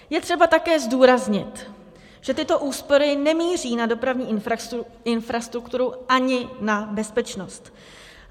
Je třeba také zdůraznit, že tyto úspory nemíří na dopravní infrastrukturu ani na bezpečnost.